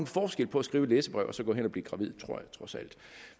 forskel på at skrive et læserbrev og så gå hen og blive gravid tror jeg trods alt